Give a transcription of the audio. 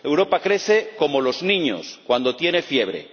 Europa crece como los niños cuando tiene fiebre